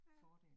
Ja